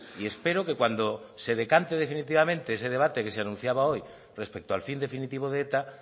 y espero que cuando se decanten definitivamente ese debate que se anunciaba hoy respecto al fin definitivo de eta